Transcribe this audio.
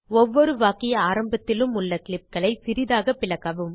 ஒவ்வொரு வாக்கிய ஆரம்பத்திலும் உள்ள கிளிப் களைச் சிறிதாகப் பிளக்கவும்